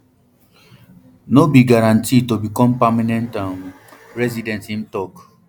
no be guarantee to become permanent um resident im tok